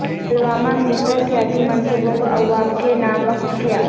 پلوامہ میںترقیاتی منصوبوں کو عوام کے نام وقف کیا